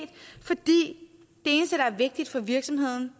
fordi det eneste der er vigtigt for virksomheden